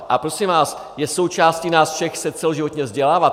A prosím vás, je součástí nás všech se celoživotně vzdělávat.